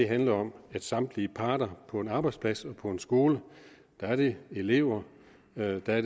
handler om at samtlige parter på en arbejdsplads og på en skole er det elever det er